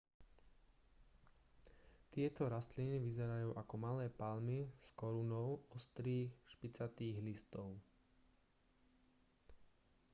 tieto rastliny vyzerajú ako malé palmy s korunou ostrých špicatých listov